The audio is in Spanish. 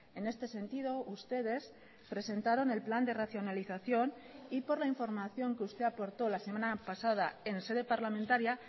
en este sentido ustedes presentaron el plan de racionalización y por la información que usted aportó la semana pasada en sede parlamentaria